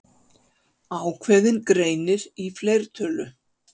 Ákveðinn greinir í fleirtölu.